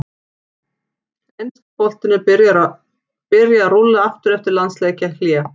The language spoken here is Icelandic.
Enski boltinn er að byrja að rúlla aftur eftir landsleikjahlé!